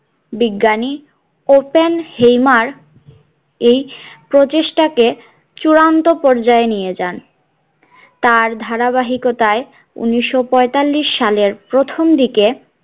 বিজ্ঞানী Oppenheimer এই প্রচেষ্টা কে চূড়ান্ত পর্যায়ে নিয়ে যান তার ধারাবাহিকতাই উনিশশো পয়তাল্লিশ সালের প্রথম দিকে